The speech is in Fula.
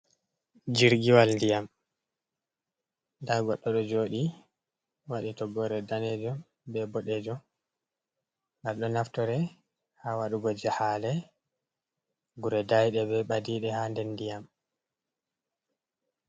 Jirgiwal ndiyam, nda goɗɗo ɗo joɗi waɗi toggore danejum be boɗejum, ngal ɗo naftore ha waɗugo jahale gure daiɗe be ɓadiɗe ha nder ndiyam.